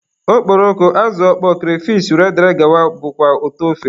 Okporoko, azụ ọkpọọ, kreyfish wdg bụkwa ụtọ ofe.